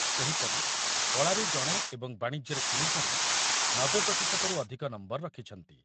ସେହିପରି କଳାରେ ଜଣେ ଏବଂ ବାଣିଜ୍ୟରେ ତିନିଜଣ ନବେ ପ୍ରତିଶତ ରୁ ଅଧୂକ ନମ୍ବର ରଖିଛନ୍ତି ।